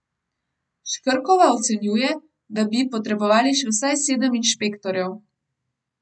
Škrkova ocenjuje, da bi potrebovali še vsaj sedem inšpektorjev.